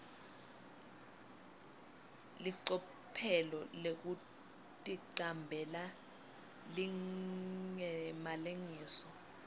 licophelo lekuticambela lingemalengiso